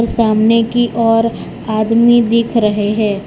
सामने की ओर आदमी दिख रहे हैं।